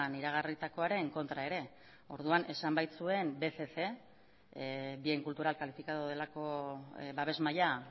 iragarritakoaren kontra ere orduan esan baitzuen bcc bien cultural calificado delako babes maila